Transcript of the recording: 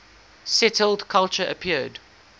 settled culture appeared